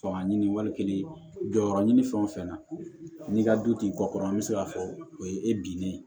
Fanga ɲini wali kelen jɔyɔrɔ ɲini fɛn o fɛn na n'i ka du t'i kɔ kɔrɔ an bɛ se k'a fɔ o ye e binnen ye